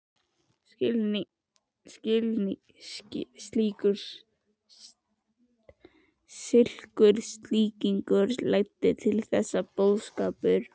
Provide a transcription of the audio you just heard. Slíkur skilningur leiddi til þess að boðskapur